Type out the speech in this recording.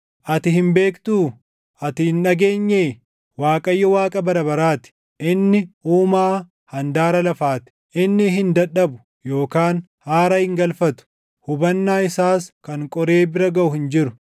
Ati hin beektuu? Ati hin dhageenyee? Waaqayyo Waaqa bara baraa ti; inni Uumaa handaara lafaa ti. Inni hin dadhabu yookaan haara hin galfatu; hubannaa isaas kan qoree bira gaʼu hin jiru.